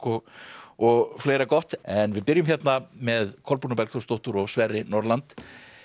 og fleira gott en við byrjum hérna með Kolbrúnu Bergþórsdóttur og Sverri Norland